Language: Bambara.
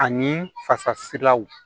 Ani fasasilaw